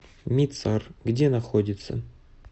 мицар где находится